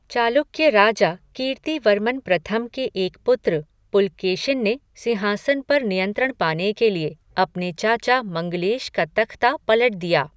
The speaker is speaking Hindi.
चालुक्य राजा कीर्तिवर्मन प्रथम के एक पुत्र, पुलकेशिन ने सिंहासन पर नियंत्रण पाने के लिए अपने चाचा मंगलेश का तख्ता पलट दिया।